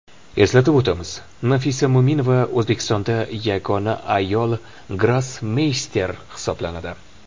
Eslatib o‘tamiz, Nafisa Mo‘minova O‘zbekistonda yagona ayol grossmeyster hisoblanadi .